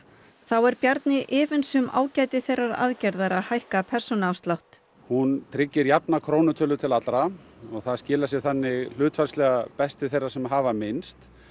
þá er Bjarni efins um ágæti þeirrar aðgerðar að hækka persónuafsláttinn hún tryggir jafna krónutölu til allra og það skilar sér þannig hlutfallslega best til þeirra sem hafa minnst